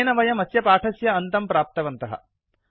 अनेन वयम् अस्य पाठस्य अन्त्यं प्राप्तवन्तः